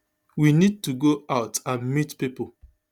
we need to go out and meet pipo